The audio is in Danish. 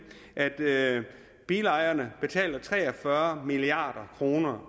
at bilejerne betaler tre og fyrre milliard kroner